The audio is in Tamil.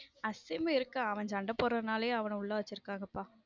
அசிம் இருக்கான் அவன் சண்டை போடுறதுனாலே அவனை உள்ள வச்சிருக்காங்கப்பா.